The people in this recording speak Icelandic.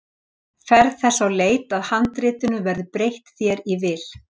Ferð þess á leit að handritinu verði breytt þér í vil.